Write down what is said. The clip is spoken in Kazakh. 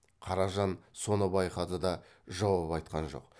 қаражан соны байқады да жауап айтқан жоқ